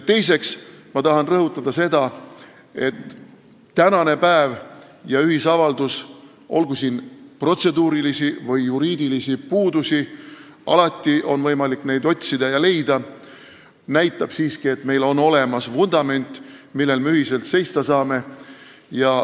Teiseks tahan rõhutada seda, et tänane päev ja ühisavaldus – olgugi selles protseduurilisi või juriidilisi puudusi, mida on alati võimalik otsida ja leida – näitab siiski, et meil on olemas vundament, millel me saame ühiselt seista.